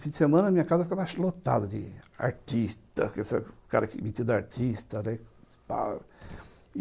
Fim de semana, minha casa ficava lotada de artista, com esse cara mentido de artista, né.